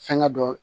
Fɛnkɛ dɔ